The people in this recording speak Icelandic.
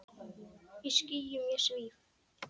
Í skýjum ég svíf.